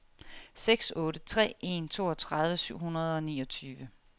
seks otte tre en toogtredive syv hundrede og niogtyve